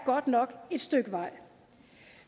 godt nok et stykke vej